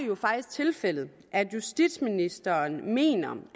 jo faktisk tilfældet at justitsministeren mener